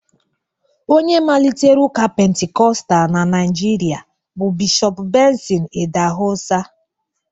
onye malitere ụka penticostal na Naijiria bụ Bishọp Benson idahosa